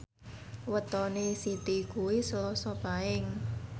wetone Siti kuwi Selasa Paing